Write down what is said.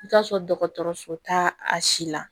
I ka sɔrɔ dɔgɔtɔrɔso ta a si la